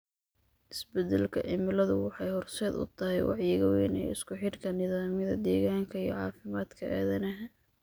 Isbeddelka cimiladu waxay horseed u tahay wacyiga weyn ee isku xidhka nidaamyada deegaanka iyo caafimaadka aadanaha.